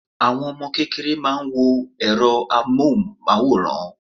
Àwọn Ọmọ kékeré máa ń wo èro amóhùn máwòrán